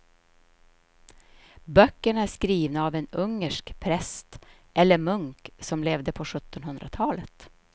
Böckerna är skrivna av en ungersk präst eller munk som levde på sjuttonhundratalet.